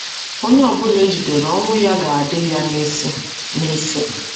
Onye ọbụla e jidere ọnwụ ya ga - adị ya n’isi. n’isi. ”